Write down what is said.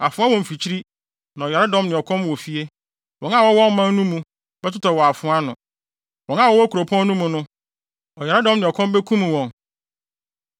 Afoa wɔ mfikyiri na ɔyaredɔm ne ɔkɔm wɔ fie; wɔn a wɔwɔ ɔman no mu bɛtotɔ wɔ afoa ano. Wɔn a wɔwɔ kuropɔn no mu no, ɔyaredɔm ne ɔkɔm bekum wɔn.